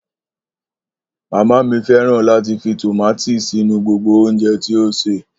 Mama mi fẹran lati fi tomati sinu gbogbo ounjẹ ti o ṣe.